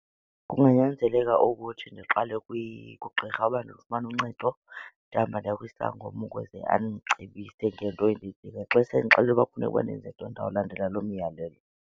Kunganyanzeleka ukuthi ndiqale kugqirha uba ndifumane uncedo, ndihambe ndiye kwisangoma ukuze andicebise ngento endiyidingayo. Xa sendixelele uba kufuneka uba ndenze ntoni, ndawulandela loo miyalelo.